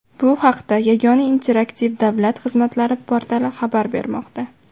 Bu haqda Yagona interaktiv davlat xizmatlari portali xabar bermoqda .